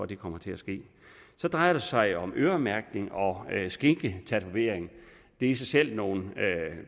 det kommer til at ske så drejer det sig om øremærkning og skinketatovering det er i sig selv nogle